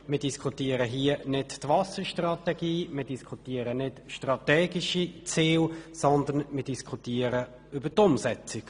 Wir diskutieren hier nicht die Wasserstrategie und nicht strategische Ziele, sondern deren Umsetzung.